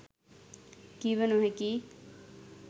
කිව නොහැකියි.